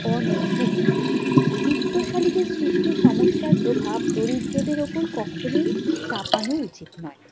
অনৈতিক। বিত্তশালীদের সৃষ্ট সমস্যার প্রভাব দরিদ্রদের উপর কখনোই চাপানো উচিত নয়।